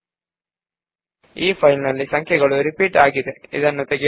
ನಾವು ಈ ಫೈಲ್ ನಲ್ಲಿ ಕೆಲವು ಸಂಖ್ಯೆಗಳು ಪುನರಾವರ್ತಿತವಾಗಿರುವುದನ್ನು ನೋಡಬಹುದು